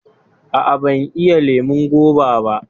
Aa, ban iya lemon goba ba